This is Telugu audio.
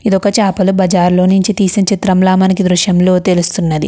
ఇది ఒక చాపల బజార్ లో తీసిన చిత్రంలా ఈ దృశ్యం లో తెలుస్తుంది.